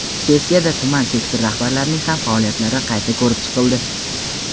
Sessiyada tuman sektor rahbarlarining ham faoliyatlari qayta ko‘rib chiqildi.